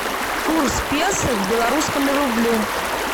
курс песо к белорусскому рублю